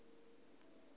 na u wa ha nila